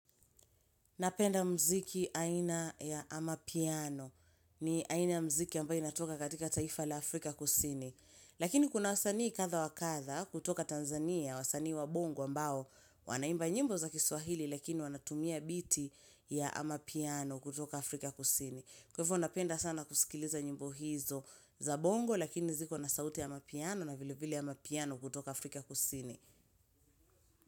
Napenda mziki aina ya amapiano ni aina ya mziki ambayo inatoka katika taifa la Afrika kusini. Lakini kuna wasanii kadhaa wakadha kutoka Tanzania wasanii wa bongo ambao wanaimba nyimbo za kiswahili lakini wanatumia biti ya amapiano kutoka Afrika kusini. Kwaivyo napenda sana kusikiliza nyimbo hizo za bongo lakini ziko nasauti ya amapiano na vilevile ya amapiano kutoka Afrika kusini.